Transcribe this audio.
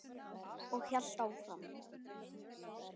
Og hélt áfram